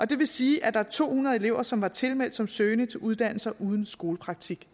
det vil sige at der er to hundrede elever som var tilmeldt som søgende til uddannelser uden skolepraktik